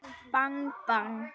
Bang bang.